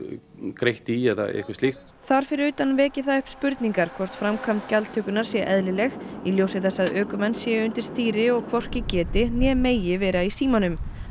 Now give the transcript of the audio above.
greiða í eða eitthvað slíkt þar fyrir utan vekur það upp spurningar hvort framkvæmd gjaldtökunnar sé eðlileg í ljósi þess að ökumenn séu undir stýri og hvorki geti né megi vera í símanum